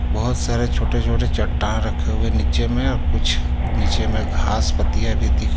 बोहोत सारे छोटे छोटे चट्टान रखे हुई हे नीचेमे और कुछ नीचेमे घास पत्तियाँ भी दिख --